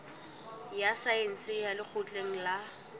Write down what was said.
ya saense ya lekgotleng la